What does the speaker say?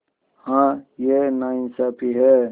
हाँ यह नाइंसाफ़ी है